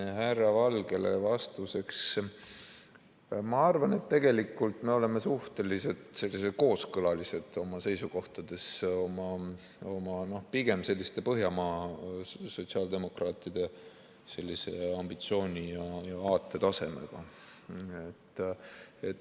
Härra Valgele vastuseks: ma arvan, et tegelikult me oleme suhteliselt kooskõlalised oma seisukohtades, pigem selliste Põhjamaade sotsiaaldemokraatide ambitsiooni ja aatetasemega.